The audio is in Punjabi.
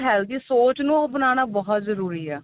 healthy ਸੋਚ ਨੂੰ ਆਪਨਾਣਾ ਬਹੁਤ ਜਰੂਰੀ ਏ